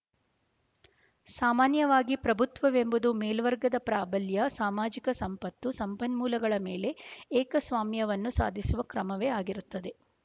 ಸಾಮಾನ್ಯವಾಗಿ ಪ್ರಭುತ್ವವೆಂಬುದು ಮೇಲ್ವರ್ಗದ ಪ್ರಾಬಲ್ಯ ಸಾಮಾಜಿಕ ಸಂಪತ್ತು ಸಂಪನ್ಮೂಲಗಳ ಮೇಲೆ ಏಕಸ್ವಾಮ್ಯವನ್ನು ಸಾಧಿಸುವ ಕ್ರಮವೇ ಆಗಿರುತ್ತದೆ